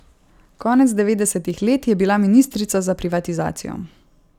Konec devetdesetih let je bila ministrica za privatizacijo.